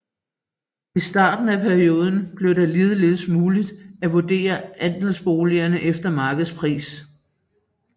I starten af perioden blev det ligeledes muligt at vurdere andelsboliger efter markedspris